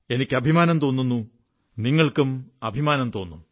എനിക്ക് അഭിമാനം തോന്നുന്നു നിങ്ങൾക്കും അഭിമാനം തോന്നും